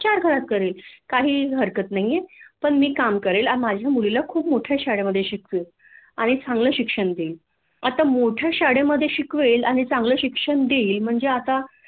चार घरात करेल काहीही हरकत नाहीयेय पण मी काम करेन माझ्या मुलीला खूप मोठ्या शाळेमधे शिकवेण आणि चांगल शिक्षण देईन आता मोठ्या शाळेमधे शिकवेन आणि चांगल शिक्षण देईल म्हणजे आता